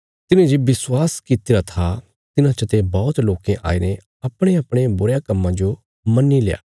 तिन्हें जे विश्वास कित्तिरा था तिन्हां चते बौहत लोकें आईने अपणेअपणे बुरयां कम्मां जो मन्नील्या